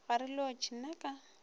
ga re lotšhe na ka